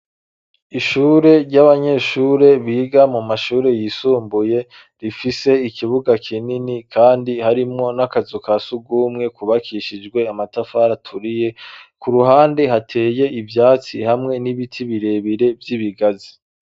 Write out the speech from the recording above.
Ishure ry'abanyeshure biga mu mashure yisumbuye rifise ikibuga kinini kandi harimwo n'akazu ka sugumwe kubakishijwe amatafari aturiye, ku ruhande hateye ivyatsi hamwe n'ibiti birebire vy'ibigazi.